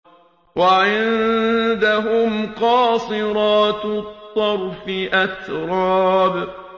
۞ وَعِندَهُمْ قَاصِرَاتُ الطَّرْفِ أَتْرَابٌ